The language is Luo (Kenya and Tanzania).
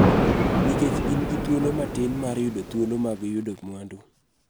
Nikech gin gi thuolo matin mar yudo thuolo mag yudo mwandu.